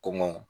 Kɔngɔ